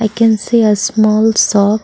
we can see a small shop.